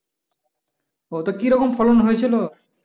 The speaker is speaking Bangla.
ও তা কি রকম ফলন হয়েছিল?